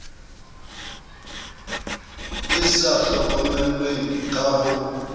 e sa hlokomelweng ka ho